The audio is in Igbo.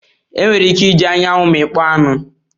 Enwere ike iji anyanwu mmikpo anu.